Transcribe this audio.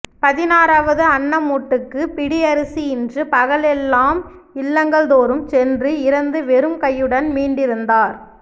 பதினாறாவது அன்னமூட்டுக்கு பிடி அரிசி இன்றி பகலெல்லாம் இல்லங்கள்தோறும் சென்று இரந்து வெறும் கையுடன் மீண்டிருந்தார்